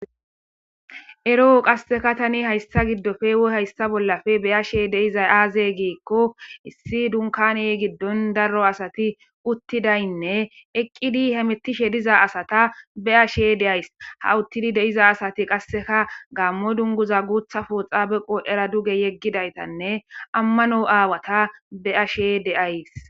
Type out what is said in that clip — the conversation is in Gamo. Ero'o qasseka tani hayssa giddofe wo hayssa bollafe beyashe deiza aaze giikko issi dunkani giddon darro asati uttidaynne eqqidi hemettishe diza asata be ashe deays ha uttidi deiza asati qasseka gaammo dunguza guutha pooxa beqo era duge yeggidaytanne ammano aawata be ashe deays